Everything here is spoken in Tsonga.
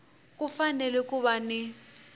ku fanele ku va ni